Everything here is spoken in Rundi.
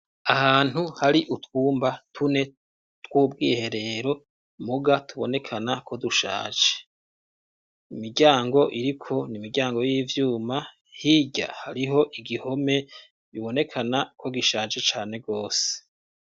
Ahantu hari utwumba tune twubwiherero muga tubonekana ko dushaje imiryango iriko n'imiryango y'ivyuma hirya hariho igihome bibonekana ko gishaje cane gose.